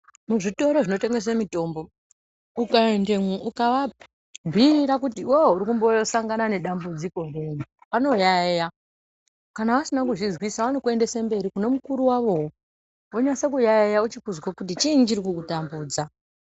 Muzvitoro zvinotengese mitombo ,ukaendemo ukaabhiira kuti iwewe uri kumboosangana nedambidziko riri, vanoyaeya. Kana vasina kuzvizwisisa vanokuendese mberi, kune mukuru wavowo. Vonase kuyaeya vochikuzwa kuti chiini chiri kukutambudza.